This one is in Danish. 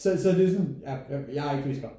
Så så det er sådan ja jeg er ikke fysiker